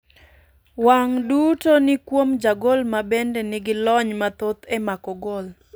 wang' duto ni kuom jagol ma bende ni gi lony mathoth e mako gol.